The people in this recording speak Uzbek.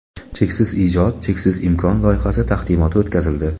"Cheksiz ijod – cheksiz imkon" loyihasi taqdimoti o‘tkazildi.